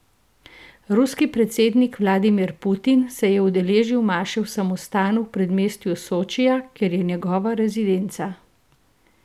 Ruski predsednik Vladimir Putin se je udeležil maše v samostanu v predmestju Sočija, kjer je njegova rezidenca.